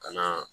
Ka na